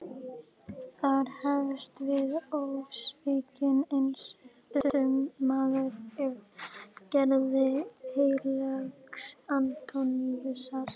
Þar hefst við ósvikinn einsetumaður af gerð heilags Antóníusar.